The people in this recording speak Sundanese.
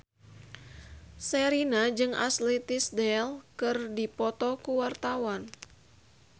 Sherina jeung Ashley Tisdale keur dipoto ku wartawan